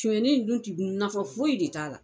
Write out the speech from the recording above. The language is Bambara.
Sonyanni in dun ti nafan foyi de t'a la.